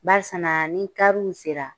Barisiana ni kariw sera